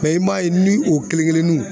i m'a ye ni o kelen-kelennunw